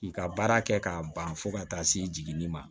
K'i ka baara kɛ k'a ban fo ka taa se jiginni ma